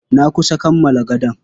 Na kusa kammala gadon.